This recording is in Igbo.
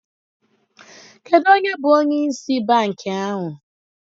Kedu onye bụ onye ịsị bankị ahụ?